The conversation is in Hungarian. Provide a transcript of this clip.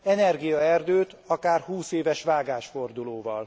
Energiaerdőt akár 20 éves vágásfordulóval.